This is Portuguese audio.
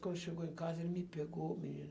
Quando chegou em casa, ele me pegou, menina.